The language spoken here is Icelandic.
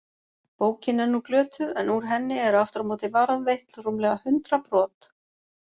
Bókin er nú glötuð en úr henni eru aftur á móti varðveitt rúmlega hundrað brot.